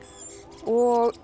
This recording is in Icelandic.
og